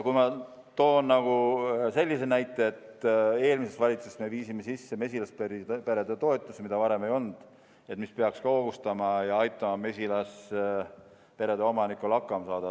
Ma toon sellise näite, et eelmises valitsuses me viisime sisse mesilaspere toetuse, mida varem ei olnud ja mis peaks ka hoogustama ning aitama mesilasperede omanikel hakkama saada.